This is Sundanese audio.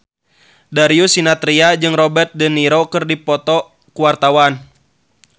Darius Sinathrya jeung Robert de Niro keur dipoto ku wartawan